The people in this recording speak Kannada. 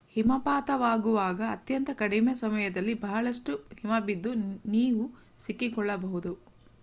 ಹಿಮಪಾತವಾಗುವಾಗ ಅತ್ಯಂತ ಕಡಿಮೆ ಸಮಯದಲ್ಲಿ ಬಹಳಷ್ಟು ಹಿಮಬಿದ್ದು ನೀವು ಸಿಕ್ಕಿಕೊಳ್ಳಬಹುದು